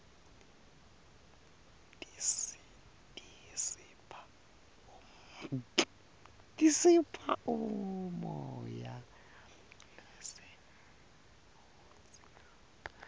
tisipha umoya lesiwudzingako